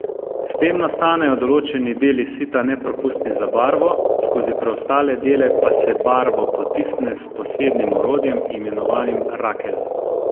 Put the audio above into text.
S tem nastanejo določeni deli sita nepropustni za barvo, skozi preostale dele pa se barvo potisne s posebnim orodjem, imenovanim rakelj.